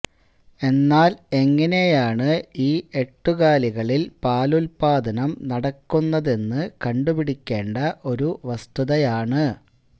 എന്നാല് എങ്ങനെയാണ് ഈ എട്ടുകാലികളില് പാലുല്പാദനം നടക്കുന്നതെന്നു കണ്ടുപിടിക്കേണ്ട ഒരു വസ്തുതയാണ്